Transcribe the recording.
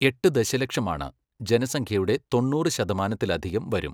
എട്ട് ദശലക്ഷമാണ്, ജനസംഖ്യയുടെ തൊണ്ണൂറ് ശതമാനത്തിലധികം വരും.